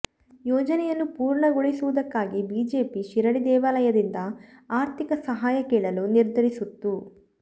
ಯೋಜನೆಯನ್ನು ಪೂರ್ಣಗೊಳಿಸುವುದಕ್ಕಾಗಿ ಬಿಜೆಪಿ ಶಿರಡಿ ದೇವಾಲಯದಿಂದ ಆರ್ಥಿಕ ಸಹಾಯ ಕೇಳಲು ನಿರ್ಧರಿಸುತ್ತು